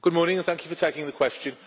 Thank you for taking the question.